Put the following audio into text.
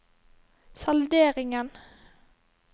salderingen